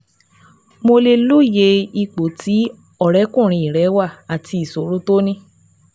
Mo lè lóye ipò tí ọ̀rẹ́kùnrin rẹ wà àti ìṣòro tó ní